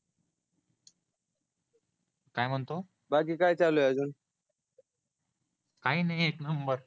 काय म्हणतो बाकी काय चालू आहे अजून काही नाही एक नंबर